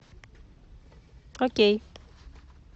окей